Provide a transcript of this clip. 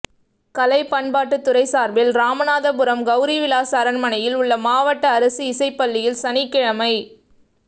கலை பண்பாட்டுத்துறை சார்பில் ராமநாதபுரம் கௌரிவிலாஸ் அரண்மனையில் உள்ள மாவட்ட அரசு இசைப்பள்ளியில் சனிக்கிழமை